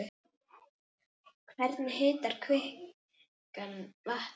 Hvernig hitar kvikan vatnið?